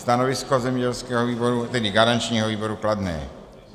Stanovisko zemědělského výboru, tedy garančního výboru, kladné.